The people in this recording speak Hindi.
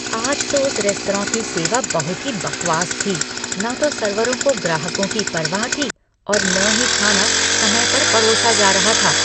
आज तो उस रेस्तरां की सेवा बहुत ही बकवास थी। न तो सर्वरों को ग्राहकों की परवाह थी और न ही खाना समय पर पड़ोसा जा रहा था।